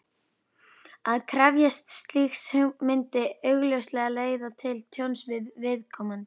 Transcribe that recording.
Að krefjast slíks myndi augljóslega leiða til tjóns fyrir viðkomandi.